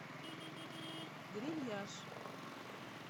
грильяж